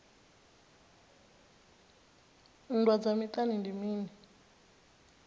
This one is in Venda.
nndwa dza miṱani ndi mini